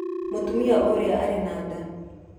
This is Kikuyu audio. Mũtumia ũrĩa arĩ na nda.